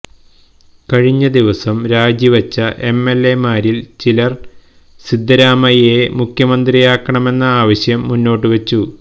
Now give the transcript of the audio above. കഴിഞ്ഞ ദിവസം രാജി വെച്ച എംഎല്എമാരില് ചിലര് സിദ്ധരാമയ്യയെ മുഖ്യമന്ത്രിയാക്കണമെന്ന ആവശ്യം മുന്നോട്ടുവെച്ചു